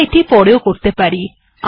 আমরা এটি পরেও করতে পারি